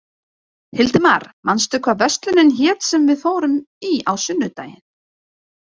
Hildimar, manstu hvað verslunin hét sem við fórum í á sunnudaginn?